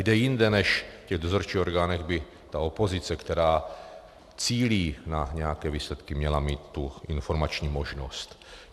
Kde jinde než v těch dozorčích orgánech by ta opozice, která cílí na nějaké výsledky, měla mít tu informační možnost?